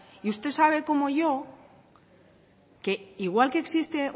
y usted sabe como yo que igual que existe